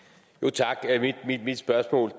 tak mit spørgsmål